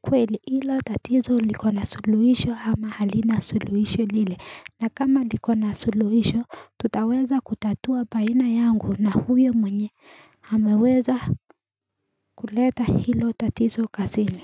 kweli hilo tatizo likona suluhisho ama halina suluhisho lile na kama likona suluhisho tutaweza kutatua baina yangu na huyo mwenye hameweza kuleta hilo tatizo kazini.